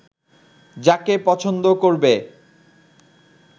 যাকে পছন্দ করবে